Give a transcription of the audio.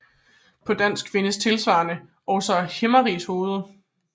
På dansk findes tilsvarende også Himmerigshoved